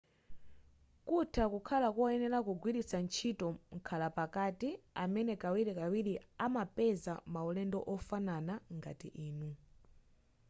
kutha kukhala koyenera kugwiritsa ntchito mkhalapakati amene kawirikawiri amapeza maulendo ofanana ngati anu